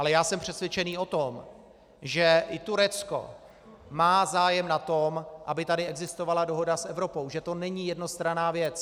Ale já jsem přesvědčený o tom, že i Turecko má zájem na tom, aby tady existovala dohoda s Evropou, že to není jednostranná věc.